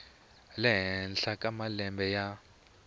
le henhla ka malembe ya